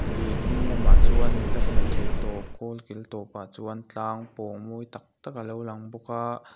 lui hnung lamah chuan mit a hmu thei tawp kawl kil tawpah chuan tlang pawng mawi tak tak a lo lang bawk a.